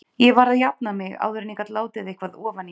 Ég varð að jafna mig áður en ég gat látið eitthvað ofan í mig.